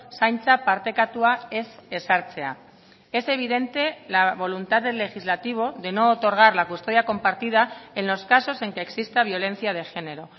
zaintza partekatua ez ezartzea es evidente la voluntad del legislativo de no otorgar la custodia compartida en los casos en que exista violencia de género